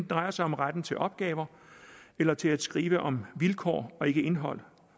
drejer sig om retten til opgaver eller til at skrive om vilkår og ikke om indhold